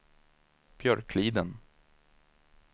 Björkliden